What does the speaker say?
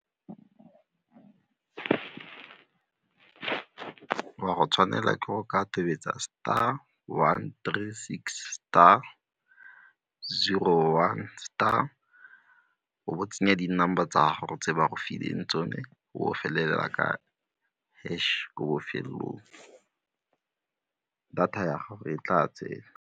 O a go tshwanela ke go ka tobetsa star one three six star zero one star o bo o tsenya di-number tsa gago tse ba go fileng tsone o felela ka hash ko bofelelong, data ya gago e tla tsena.